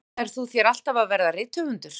Ætlaðir þú þér alltaf að verða rithöfundur?